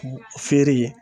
Feere ye